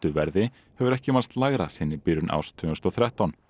verði hefur ekki mælst lægra síðan í byrjun árs tvö þúsund og þrettán